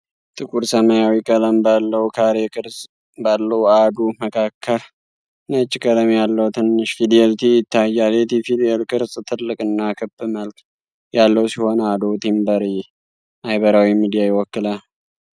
ጥቁር ሰማያዊ ቀለም ባለው፣ ካሬ ቅርጽ ባለው አዶ መካከል ነጭ ቀለም ያለው ትንሽ ፊደል “t” ይታያል። የ“t” ፊደል ቅርጽ ትልቅ እና ክብ መልክ ያለው ሲሆን፣ አዶው ቲምበር ማህበራዊ ሚዲያ ይወክላል።